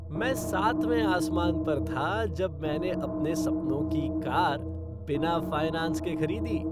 मैं सातवें आसमान पर था जब मैंने अपने सपनों की कार बिना फ़ाइनैंस के खरीदी।